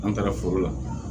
An taara foro la